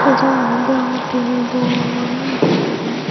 se jaga ganot degongotte he bor oye jaga gaan.